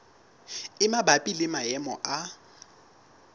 e mabapi le maemo a